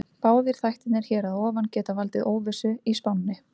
Báðir þættirnir hér að ofan geta valdið óvissu í spánni.